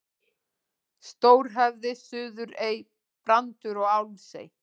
Stórhöfði, Suðurey, Brandur og Álfsey.